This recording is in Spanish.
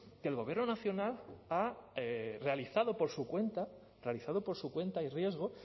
que el gobierno nacional ha realizado por su cuenta realizado por su cuenta y riesgo